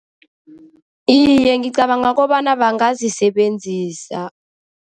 Iye, ngicabanga kobana bangazisebenzisa.